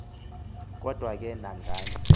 kodwa ke nangani